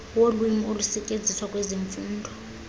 wolwimi olusetyenziswa kwezemfundo